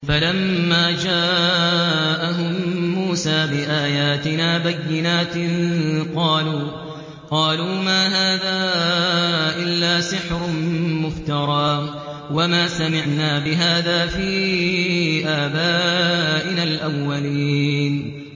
فَلَمَّا جَاءَهُم مُّوسَىٰ بِآيَاتِنَا بَيِّنَاتٍ قَالُوا مَا هَٰذَا إِلَّا سِحْرٌ مُّفْتَرًى وَمَا سَمِعْنَا بِهَٰذَا فِي آبَائِنَا الْأَوَّلِينَ